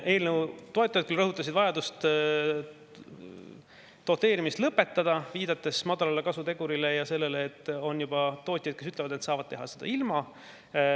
Eelnõu toetajad rõhutasid vajadust doteerimine lõpetada, viidates madalale kasutegurile ja sellele, et on juba tootjaid, kes ütlevad, et saavad teha seda ilma.